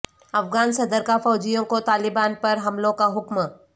افغان صدر کا فوجیوں کو طالبان پر حملوں کا حکم